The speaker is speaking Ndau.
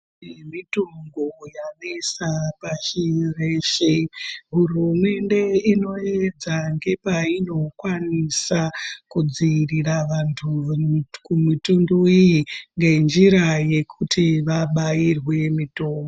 Iyi mitombo yanesa pashi reshe hurumende inoyedza ngepayinokwanisa kudziirira vantu kumitundu iyi ngenjira yekuti vabairwe mitombo.